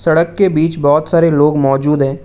सड़क के बीच बहुत सारे लोग मौजूद हैं।